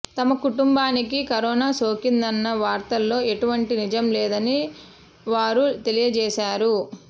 తమ కుటుంబానికి కరోనా సోకిందన్న వార్తలలో ఎటువంటి నిజం లేదని వారు తెలియజేశారు